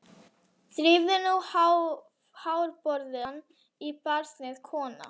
Drífðu nú hárborðann í barnið, kona.